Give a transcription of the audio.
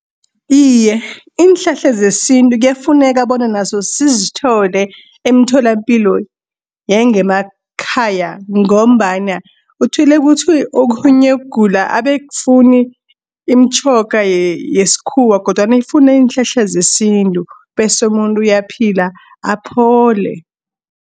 Iye, iinhlahla zesintu kuyafuneka bona nazo sizithole emtholapilo yangemakhaya, ngombana uthole ukuthi okhunye ugula abe akufuni imitjhoga yesikhuwa, kodwana ifuna iinhlahla zesintu, bese umuntu uyaphila aphole.